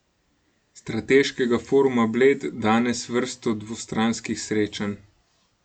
Strateškega foruma Bled danes vrsto dvostranskih srečanj.